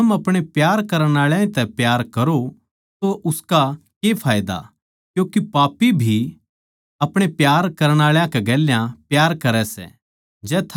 जै थम अपणे प्यार करण आळा तै ए प्यार करो तो उसका के फायदा क्यूँके पापी भी अपणे प्यार करण आळा कै गेल्या प्यार करै सै